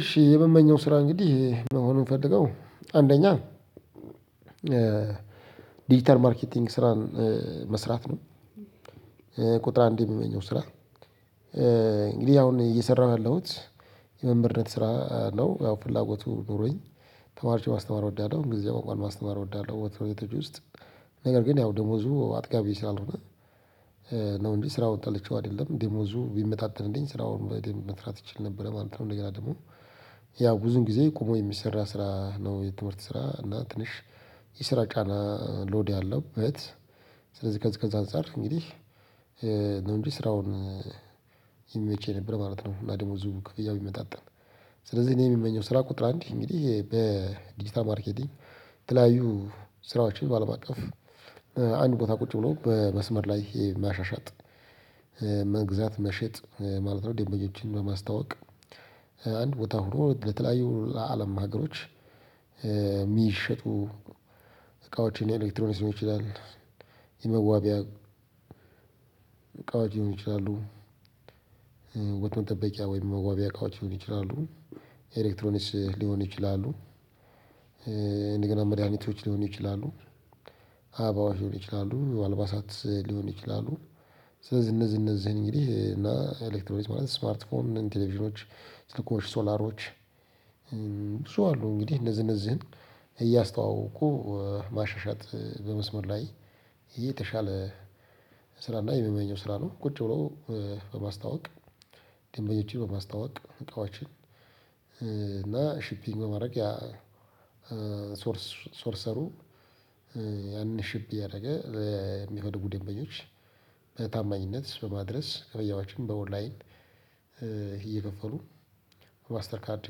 እሺ የምመኘው ስራ እንግዲህ መሆኑን የምፈልገው አንደኛ ዲጂታል ማርኬቲንግ ስራን መስራት ነው። ቁጥር አንድ የምመኘው ስራ እንግዲህ አሁን እየሰራሁ ያለሁት የመምህርነት ስራ ነው ያው ፍላጎቱ ኖሮኝ ተማሪዎችን ማስተማር እወዳለሁ እንግዲህ የው መማር ማስተማር እወዳለሁ። በትምህርት ቤቶች ውስጥ ነገር ግን ያው ደሞዙ አጥጋቢ ስላልሆነ ነው እንጅ ስራውን ጠልቸው አይደለም፤ ደሞዙ ቢመጣጠንልኝ ስራውን በደንብ መስራት እችል ነበረ ማለት ነው። እንደገና ደግሞ ያው ብዙውን ጊዜ ቁሞ የሚሰራ ስራ ነው የትምህርት ስራ እና ትንሽ። የስራ ጫና ሎድ አለበት። ስለዚህ ከዚህ ከዚህ አንፃር እንግዲህ ነው እንጂ ስራውን ይመቸኝ ነበር ማለት ነው። ብለህ ማለት ነው እና ደግሞ እዚሁ ብያው ይመጣጠን ስለዚህ እኔ የምመኘው ስራ ቁጥር አንድ እንግዲህ ይሄ በዲጂታል ማርኬቲንግ የተለያዩ ስራዎችን ባለምአቀፍ አንድ ቦታ ቁጭ ብሎ በመስመር ላይ ማሻሻጥ መግዛት መሸጥ ማለት ነው ደምበኞችን በማስታወቅ አንድ ቦታ ሆኖ ለተለያዩ አለም ሀገሮች የሚሸጡ እቃዎችን ኤሌክትሮኒክ ሊሆን ይችላል። የመዋቢያ እቃዎችን ሊሆኑ ይችላሉ። ውበት መጠበቂያ ወይም መዋቢያ እቃዎች ሊሆነ ይችላሉ። ኤሌክትሮኒክስ ሊሆኑ ይችላሉ። እንደገና መድኃኒቶች ሊሆኑ ይችላሉ። አበባዎሽ ሊሆኑ ይችላሉ፤ አልባሳት ሊሆኑ ይችላሉ፤ ስለዚህ እነዚህ እነዚህን እንግዲህ እና ኤሌክትሮኒክስ ማለት ስማርት ፎን ቴሌቪዥኖች ስልኮሽ ሶላሮች ብዙ አሉ። እንግዲህ እነዝህ እነዝን እያስተዋወቁ ማሻሻጥ በመስመር ላይ የተሻለ ስራ እና የምመኘው ስራ ነው። ቁጭ ብሎ በማስታወቅ ደንበኞችን በማስታወቅ እቃዎችን እና ሺፒንግ በማድረግ ያ ሶርስ ሶርሰሩ ያንን ሽብ እያደረገ የሚፈልጉ ደንበኞች በታማኝነት በማድረስ ክፍያዎችን በኦንላይን እየከፈሉ ማስተር ካርድ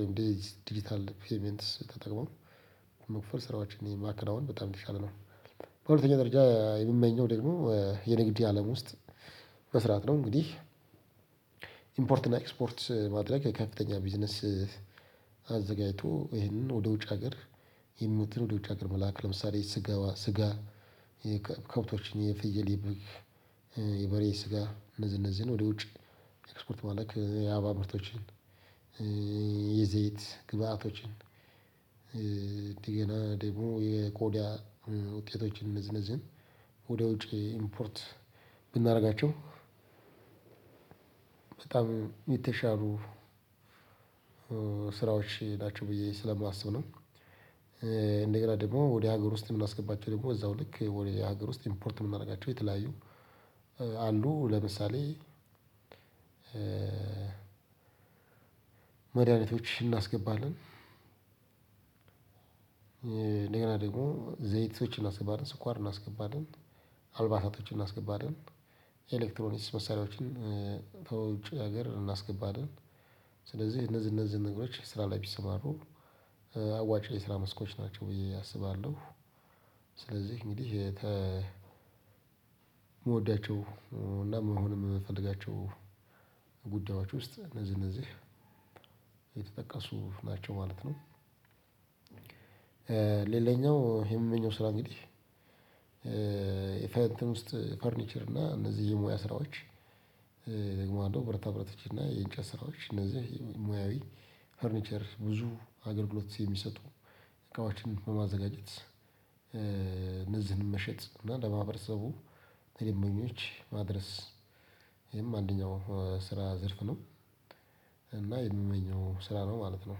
ወይም ዲጂታል ፔይመንትስ ተጠቅመው መክፈል ስራዎችን ማከናውን በጣም የተሻለ ነው። በሁለተኛ ደረጃ የምመኘው ደግሞ የንግድ አለም ውስጥ መስራት ነው። እንግዲህ ኢምፖርትና ኤክስፖርት ማድረግ ከፍተኛ ቢዝነስ አዘጋጅቶ ይሄንን ወደ ውጭ ሀገር፤ ይሄን ምግብ ወደ ውጭ ሀገር መላክ፤ ለምሳሌ ስጋ፣ ከብቶችን የፍየል፤ የበሬ ስጋ እነዚህ እነዚህን ወደ ውጭ መላክ፤ የአበባ ምርቶችን የዘይት ግብዓቶችን፤ ሌላ ደግሞ የቆዳ ውጤቶችን፤ እነዚህ እነዚህን ወደ ውጭ ኢምፖርት ብናደርጋቸው በጣም የተሻሉ ስራዎች ናቸው። ብዬ ስለማስብ ነው። እንደገና ደግሞ ወደ ሀገር ውስጥ የምናስገባቸው ደግሞ እዛው ልክ ወደ ሀገር ውስጥ ኢምፖርት የምናደርጋቸው የተለያዩ አሉ። ለምሳሌ መድኃኒቶች እናስገባለን። እንደገና ደግሞ ዘይቶችን እናስገባለን፤ ስኳር እናስገባለን፤ አልባሳታቶችን እናስገባለን፤ ኤሌክትሮኒክስ መሳሪያዎችን ከውጭ ሀገር እናስገባለን፤ ስለዚህ እነዚህ እነዚህ ነገሮች ስራ ላይ ቢሰማሩ አዋጭ የስራ ስራ መስኮች ናቸው ብዬ አስባለሁ። ስለዚህ እንግዲህ የምወዳቸው እና መሆንም የምፈልጋቸው ጉዳያዎች ውስጥ እነዚህ እነዚህ ናቸው ማለት ነው። ሌላኛው የምመኘው ስራ እንግዲህ የፈርኒቸር እና እነዚህ የሙያ ስራዎች ወይም ደግሞ ብረታ ብረቶች እና የእንጨት ስራዎች እነዚህ ሙያዊ ፈርኒቸር ብዙ አገልግሎት የሚሰጡ እቃዎችን በማዘጋጀት እነዚህን መሸጥ እና ለማህበረሰቡ፣ ለደንበኞች ማድረስ ይሄም አንደኛው ስራ ዘርፍ ነው። እና የምመኘው ስራ ነው ማለት ነው።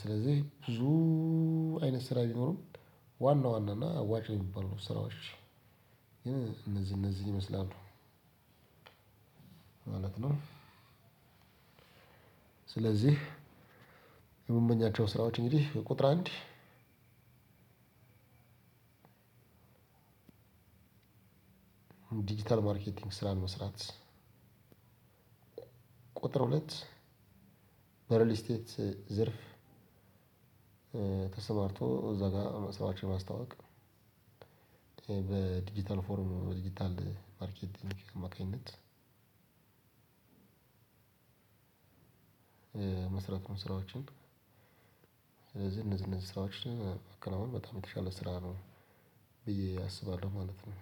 ስለዚህ ብዙ አይነት ስራ ቢኖርም ዋና ዋና እና አዋጭ የሚባሉ ስራዎች ግን እነዚህ እነዚህ ይመስላሉ ማለት ነው። ስለዚህ የምመኛቸው ስራዎች እንግዲህ ቁጥር አንድ ዲጂታል ማርኬቲንግ ስራ መስራት፤ ቁጥር ሁለት በሪል ስቴትስ ዘርፍ ተሰማርቶ እዛ ጋር ስራቸውን ማስተዋወቅ በዲጂታል ፎርሙ በዲጂታል ማርኬቲንግ አማካኝነት መስራት ነው። ስራዎችን ስለዚህ እነዚህ እነዚህ ስራዎች በቃ አሁን በጣም የተሻለ ስራ ነው። ብዬ አስባለሁ ማለት ነው።